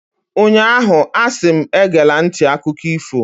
ụnyahụ, a si m, egela nti akụkọ ifo!